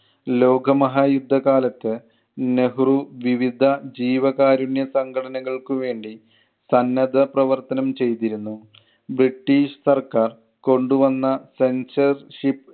ലോകമഹായുദ്ധ കാലത്ത് നെഹ്‌റു വിവിദ്ധ ജീവകാരുണ്യ സംഘടനകൾക്ക് വേണ്ടി സന്നദ്ധ പ്രവർത്തനം ചെയ്‌തിരുന്നു. ബ്രിട്ടീഷ് സർക്കാർ കൊണ്ട് വന്ന sensorship